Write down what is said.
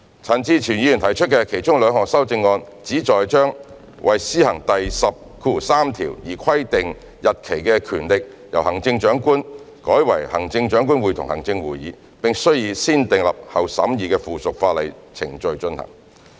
陳志全議員提出的其中兩項修正案旨在把為施行第103條而規定日期的權力由行政長官改為行政長官會同行政會議，並須以"先訂立後審議"的附屬法例程序進行。